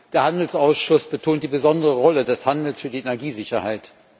Der Handelsausschuss betont die besondere Rolle des Handels für die Energiesicherheit.